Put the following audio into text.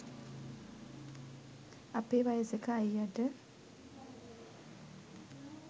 අපේ වයසක අයියට